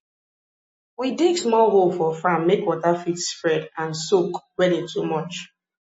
we dig small hole for farm make water fit spread and soak when e too much